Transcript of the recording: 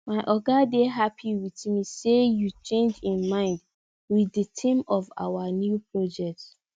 my oga dey happy with me say yo change im mind with the theme of our new project